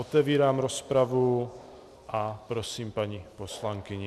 Otevírám rozpravu a prosím paní poslankyni.